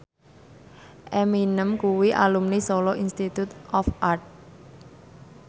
Eminem kuwi alumni Solo Institute of Art